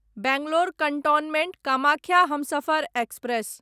Bangalore cantonment Kamakhya Humsafar express